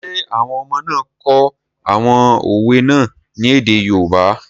Ṣé àwọn ọmọ náà kọ àwọn òwe náà ní èdè yoòbá?